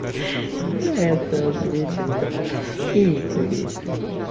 это свете нет и не кури